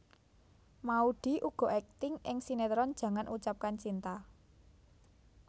Maudy uga akting ing sinetron Jangan Ucapkan Cinta